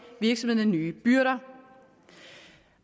virksomhederne nye byrder